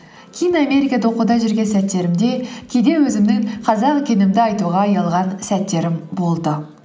кейін америкада оқуда жүрген сәттерімде кейде өзімнің қазақ екенімді айтуға ұялған сәттерім болды